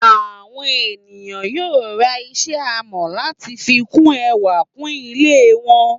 Àwọn ènìyàn yóò ra iṣẹ́ amọ̀ láti fi bu ẹwà kún ilé wọn.